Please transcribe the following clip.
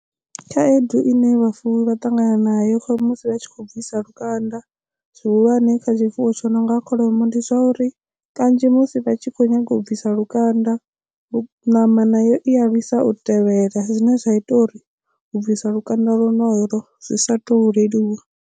Khaedu i ne vhafuwi vha ṱangana nayo musi vha tshi khou bvisa lukanda zwihulwane kha tshifuwo tsho nonga kholomo ndi zwa uri kanzhi musi vha tshi kho nyaga u bvisa lukanda ṋama nayo i a lwisa u tevhela zwine zwa ita uri u bvisa lukanda lonolo zwi sa to leluwa.